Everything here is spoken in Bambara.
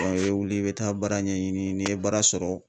i bɛ wuli i bɛ taa baara ɲɛɲini n'i ye baara sɔrɔ